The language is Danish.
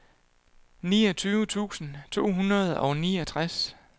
niogtyve tusind to hundrede og niogtres